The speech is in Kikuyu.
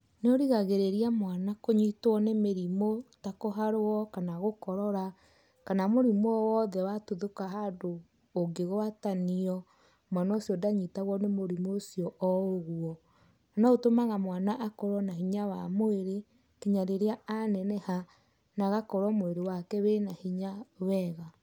Nĩũrigagĩrĩria mwana kũnyitwo nĩ mĩrimũ, ta kũharwo kana gũkorora kana mũrimũ owothe watuthũka handũ ũngĩgwatanio mwana ũcio ndanyitagwo nĩ mũrimũ ũcio oũguo, noũtũmaga mwana akorwo na hinya wa mwĩrĩ nginya rĩrĩa aneneha na agakorwo mwĩrĩ wake wĩna hinya wega.